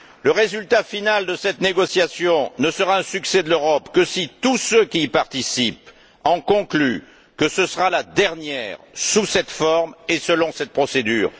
Le résultat final de cette négociation ne sera un succès de l'Europe que si tous ceux qui y participent en concluent que ce sera la dernière, sous cette forme et selon cette procédure.